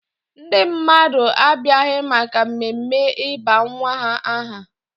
Ndị mmadụ abịaghị maka mmemme ịba nwa ha aha.